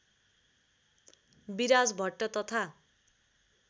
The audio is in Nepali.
विराज भट्ट तथा